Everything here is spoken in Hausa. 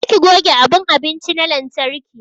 Je ki goge abun abinci na lantarki!